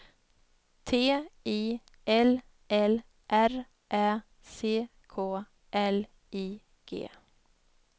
T I L L R Ä C K L I G